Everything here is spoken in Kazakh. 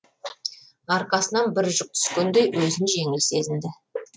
арқасынан бір жүк түскендей өзін жеңіл сезінді